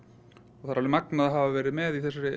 og það er alveg magnað að hafa verið með í